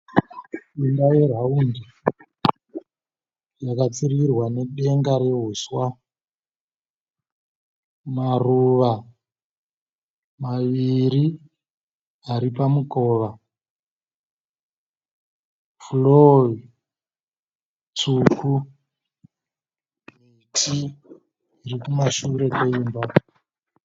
Imba yeraundi yakapfirirwa nedenga rehuswa. Maruva maviri ari pamukova. 'Floor' tsvuku, miti iri kumashure kweimba.